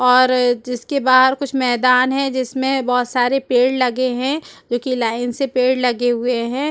और जिसके बाहर कुछ मैदान है जिसमें बहुत सारे पेड़ लगे हैं जो कि लाइन से पेड़ लगे हुए हैं।